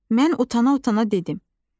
Mən utana-utana dedim.